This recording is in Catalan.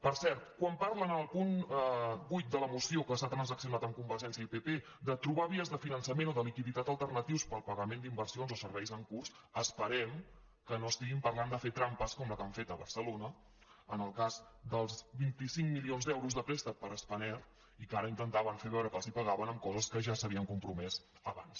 per cert quan parlen en el punt vuit de la moció que s’ha transaccionat amb convergència i pp de trobar vies de finançament o de liquiditat alternatius per al pagament d’inversions o serveis en curs esperem que no estiguin parlant de fer trampes com la que han fet a barcelona en el cas dels vint cinc milions d’euros de prés·tec per a spanair i que ara intentaven fer veure que els pagaven amb coses que ja s’havien compromès abans